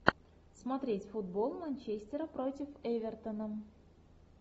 смотреть футбол манчестера против эвертона